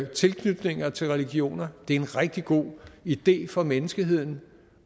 tilknytninger til religioner det er en rigtig god idé for menneskeheden